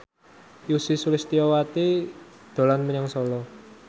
Ussy Sulistyawati dolan menyang Solo